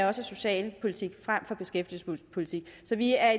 er socialpolitik frem for beskæftigelsespolitik så vi er